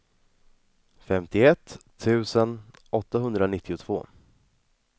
femtioett tusen åttahundranittiotvå